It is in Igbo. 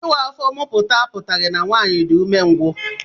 Ịwa afọ muputa a putaghi na nwaanyị dị umengwu